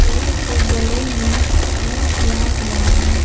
पेड़ के जड़ों में कलर किया हुआ है।